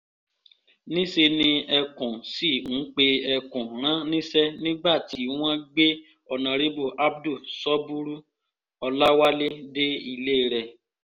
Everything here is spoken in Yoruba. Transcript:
níṣẹ́ ni ẹkùn sì ń pe ẹkùn rán níṣẹ́ nígbà tí wọ́n gbé honorébù abdul sọ́búrú-ọláwálẹ̀ dé ilé rẹ̀